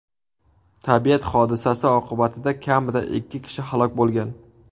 Tabiat hodisasi oqibatida kamida ikki kishi halok bo‘lgan.